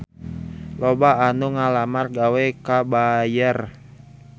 Loba anu ngalamar gawe ka Bayer